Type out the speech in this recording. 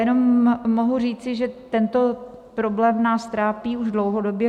Jenom mohu říci, že tento problém nás trápí už dlouhodobě.